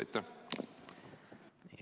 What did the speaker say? Aitäh!